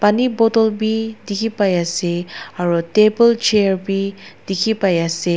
Pani bottle bi dikhipaiase aro table chair bi dikhipaiase.